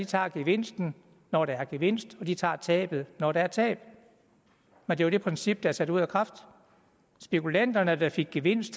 tager gevinsten når der er gevinst og de tager tabet når der er tab men det princip er jo sat ud af kraft spekulanterne der fik gevinst